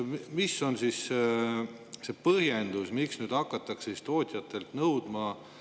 Mis on see põhjendus, miks nüüd hakatakse tootjatelt seda nõudma?